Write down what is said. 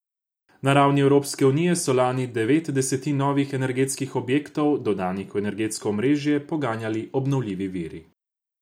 Na ravni Evropske unije so lani devet desetin novih energetskih objektov, dodanih v energetsko omrežje, poganjali obnovljivi viri.